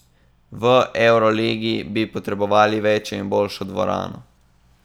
V evroligi bi potrebovali večjo in boljšo dvorano.